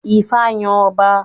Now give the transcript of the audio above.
Ifá yàn ọba